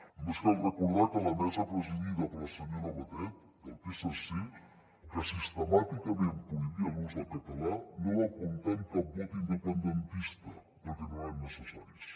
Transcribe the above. només cal recordar que la mesa presidida per la senyora batet del psc que sistemàticament prohibia l’ús del català no va comptar amb cap vot independentista perquè no eren necessaris